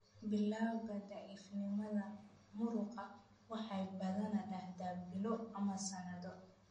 Bilawga daciifnimada muruqa waxay badanaa dhacdaa bilo ama sanado.